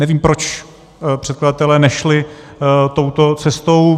Nevím, proč předkladatelé nešli touto cestou.